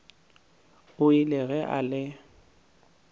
o ile ge a le